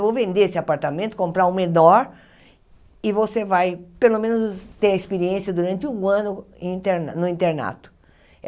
Eu vou vender esse apartamento, comprar um menor, e você vai, pelo menos, ter a experiência durante um ano em inter no internato.